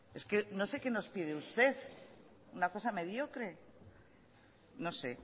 es que no sé que nos pide usted una cosa mediocre no sé